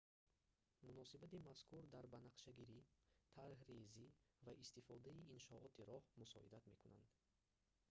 муносиботи мазкур дар банақшагирӣ тарҳрезӣ ва истифодаи иншооти роҳ мусоидат мекунанд